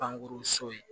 Pankurun so ye